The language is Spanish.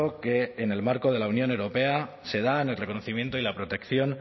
que en el marco de la unión europea se da en el reconocimiento y la protección